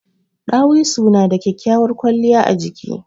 Ɗawisu na da kyakkyawar kwaliya a jiki.